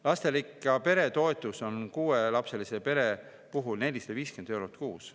Lasterikka pere toetus on kuuelapselise pere puhul 450 eurot kuus.